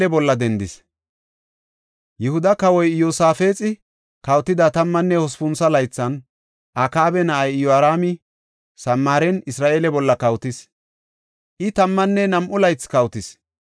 Yihuda kawoy Iyosaafexi kawotida tammanne hospuntho laythan, Akaaba na7ay Iyoraami Samaaren Isra7eele bolla kawotis; I tammanne nam7u laythi kawotis.